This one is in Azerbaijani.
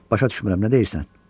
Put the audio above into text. Başa düşmürəm, nə deyirsən?